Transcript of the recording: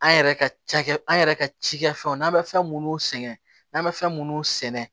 An yɛrɛ ka cakɛ an yɛrɛ ka cikɛfɛnw n'an bɛ fɛn minnu sɛŋɛ n'an bɛ fɛn minnu sɛnɛ